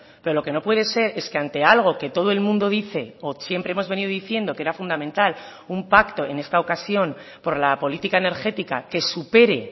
pero lo que no puede ser es que ante algo que todo el mundo dice o siempre hemos venido diciendo que era fundamental un pacto en esta ocasión por la política energética que supere